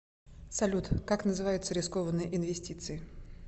салют как называются рискованные инвестиции